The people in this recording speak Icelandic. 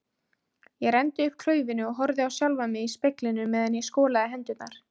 Ég renndi upp klaufinni og horfði á sjálfan mig í speglinum meðan ég skolaði hendurnar.